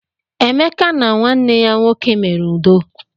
Emeka na nwanne ya nwoke mere udo.